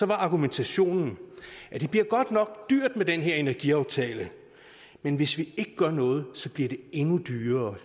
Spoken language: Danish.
var argumentationen at det bliver godt nok dyrt med den her energiaftale men hvis vi ikke gør noget bliver det endnu dyrere